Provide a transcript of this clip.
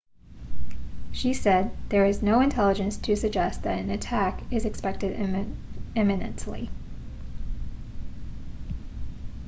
she said there is no intelligence to suggest that an attack is expected imminently